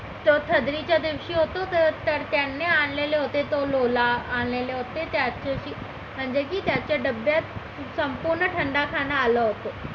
त्यादिवशी होतो तर त्याने आणलेले होते तो लोला आणलेले होते त्याच दिवशी म्हणजे की त्याच्या डब्यात संपूर्ण ठंडा खाना आलं होतं